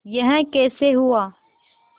यह कैसे हुआ